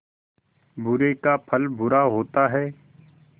बुरे का फल बुरा होता है